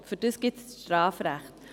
Dafür gibt es das Strafrecht.